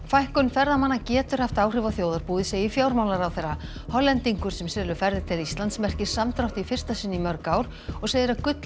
fækkun ferðamanna getur haft áhrif á þjóðarbúið segir fjármálaráðherra Hollendingur sem selur ferðir til Íslands merkir samdrátt í fyrsta sinn í mörg ár og segir að